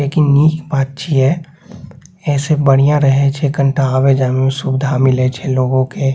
लेकिन निक बात छिये ए से बढ़िया रहे छै कनटा आवे-जाय में सुविधा मिले छै लोगो के।